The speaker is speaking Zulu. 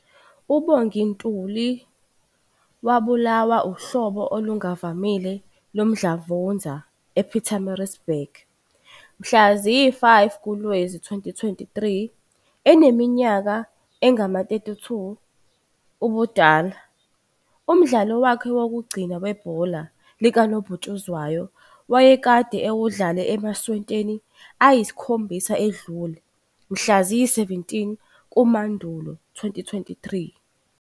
UBongi Ntuli wabulawa uhlobo olungavamile lomdlavuza ePietermaritzburg, mhla ziyi-5 kuLwezi 2023, eneminyaka engama-32 ubudala. Umdlalo wakhe wokugcina webhola likanobhutshuzwayo wayekade ewudlale emasontweni ayisikhombisa edlule, mhla ziyi-17 ku Mandulo 2023.